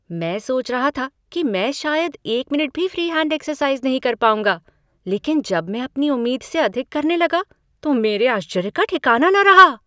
मैं सोच रहा था कि मैं शायद एक मिनट भी फ़्री हैंड एक्सरसाइज़ नहीं कर पाऊंगा, लेकिन जब मैं अपनी उम्मीद से अधिक करने लगा तो मेरे आश्चर्य का ठिकाना न रहा।